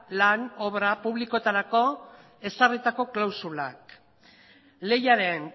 lan obra publikoetarako ezarritako klausulak lehiaren